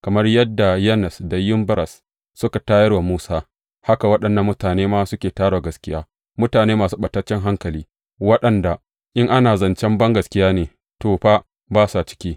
Kamar dai yadda Yannes da Yamberes suka tayar wa Musa, haka waɗannan mutane ma suke tayar wa gaskiya, mutane masu ɓataccen hankali, waɗanda, in ana zancen bangaskiya ne, to, fa ba sa ciki.